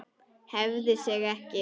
Hreyfði sig ekki.